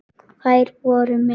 Þær voru með